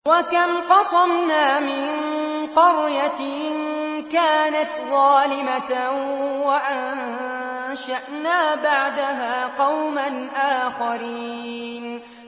وَكَمْ قَصَمْنَا مِن قَرْيَةٍ كَانَتْ ظَالِمَةً وَأَنشَأْنَا بَعْدَهَا قَوْمًا آخَرِينَ